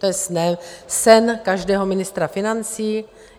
To je sen každého ministra financí.